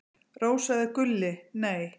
Rósa eða Gulli: Nei.